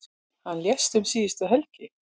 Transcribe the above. Hann lést um síðustu helgi.